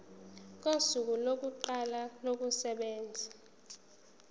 kosuku lokuqala kokusebenza